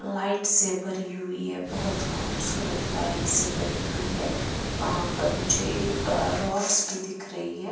Light से भरी हुई है बहुत खूबसूरत लाइट से भरी हुई है वहां पर मुझे एक रोड्स भी दिख रही है।